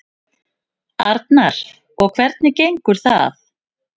Arnar: Og hvernig gengur það?